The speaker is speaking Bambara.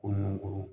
Ko nun ko